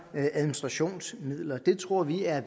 administrationsmidler det tror vi er